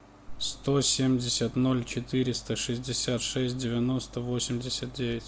сто семьдесят ноль четыреста шестьдесят шесть девяносто восемьдесят девять